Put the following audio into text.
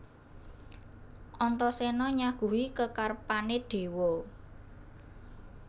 Antaséna nyaguhi kekarepané déwa